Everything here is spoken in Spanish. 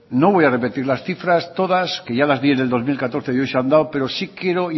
no voy a repetir las cifras todas que ya las di en el dos mil catorce y hoy se han dado pero sí quiero